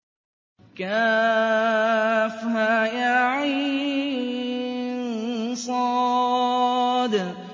كهيعص